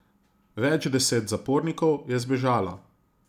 Več deset zapornikov je zbežalo.